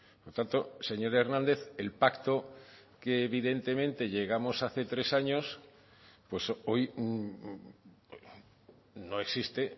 por tanto señor hernández el pacto que evidentemente llegamos hace tres años pues hoy no existe